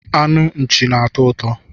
Anu nchi na-atọ ụtọ